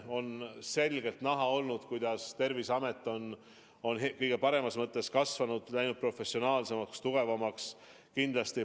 On selgelt näha olnud, kuidas Terviseamet on kõige paremas mõttes kasvanud, läinud professionaalsemaks, tugevamaks.